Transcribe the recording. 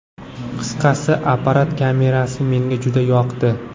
Qisqasi, apparat kamerasi menga juda yoqdi!